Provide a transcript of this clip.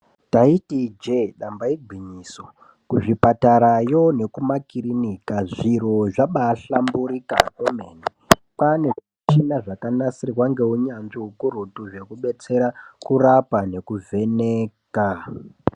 Taiti ijee damba igwinyiso kuzvipatarayo nekumakirinika zviro zvabahlamburika kwemene. Kwane zvimichina zvakanasirwa ngeunyanzvi hukurutu zvekubetsera kurapa nekuvheneka.